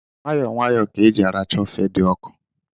Nwayọọ nwayọọ ka e ji arachaa ofe dị ọkụ